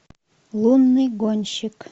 лунный гонщик